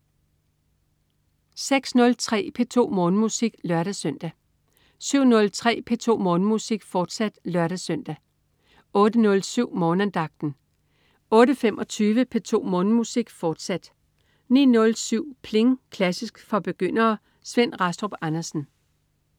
06.03 P2 Morgenmusik (lør-søn) 07.03 P2 Morgenmusik, fortsat (lør-søn) 08.07 Morgenandagten 08.25 P2 Morgenmusik, fortsat 09.07 Pling! Klassisk for begyndere. Svend Rastrup Andersen